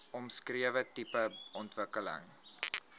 omskrewe tipe ontwikkeling